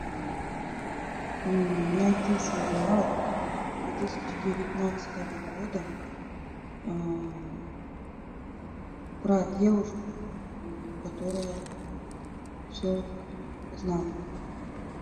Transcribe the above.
найти сериал две тысячи девятнадцатого года про девушку которая все знала